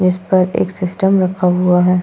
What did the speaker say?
जिस पर एक सिस्टम रखा हुआ है।